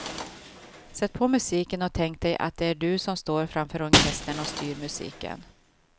Sätt på musiken och tänk dig att det är du som står framför orkestern och styr musiken.